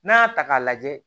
N'a y'a ta k'a lajɛ